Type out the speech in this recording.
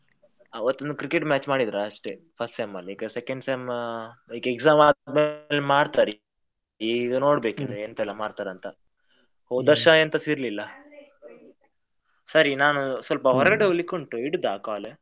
ಆವತ್ ಒಂದ್ Cricket match ಮಾಡಿದ್ರು ಅಷ್ಟೇ first sem ಅಲ್ಲಿ, ಈಗ second sem ಆ ಈಗ exam ಆದ್ರ ಮೇಲೆ ಮಾಡ್ತಾರೆ, ಈಗ ನೋಡ್ಬೇಕು ಇನ್ನು ಎಂತೆಲ್ಲ ಮಾಡ್ತಾರೆ ಅಂತ, ಹೋದ್ ವರ್ಷ ಎಂತಸಾ ಇರ್ಲಿಲ್ಲ. ಸರಿ ನಾನ್ ಸ್ವಲ್ಪ ಹೊರಗಡೆ ಹೋಗ್ಲಿಕ್ಕುಂಟು ಇಡುದ call ?